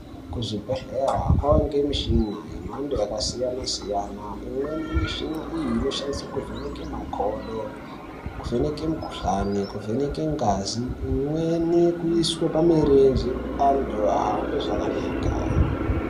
Kuzvibhedhlera kovanika michina yemhando yakasiyana-siyana. Imweni yemishina iyi inoshandiswe kuvheneka makodo, kuvheneke mukuhlani, kuvheneke ngazi. Imweni kuiswe pamirenje antu ahambe zvakanaka.